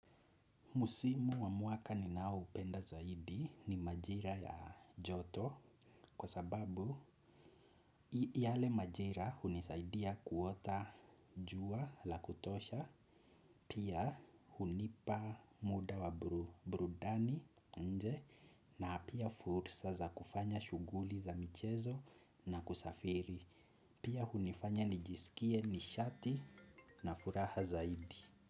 Musimu wa mwaka ninao upenda zaidi ni majira ya joto kwa sababu yale majira hunisaidia kuota jua la kutosha pia hunipa muda wa burudani nje na pia fursa za kufanya shuguli za michezo na kusafiri pia hunifanya nijisikie nishati na furaha zaidi.